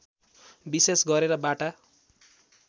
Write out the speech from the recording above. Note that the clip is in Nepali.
विशेष गरेर बाटा